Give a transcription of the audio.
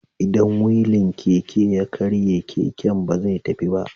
Idan wilin Keke ya karye, keken ba zai tafi ba.